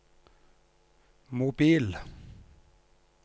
mobil